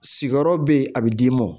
Sigiyɔrɔ be yen a be d'i ma